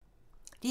DR2